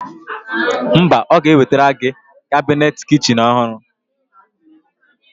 Mba, Ọ ga-ewetara gị kabinet kichin ọhụrụ.